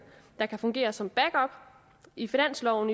der kan fungere som backup i finansloven